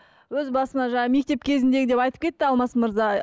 өз басыма жаңағы мектеп кезіндегі деп айтып кетті алмас мырза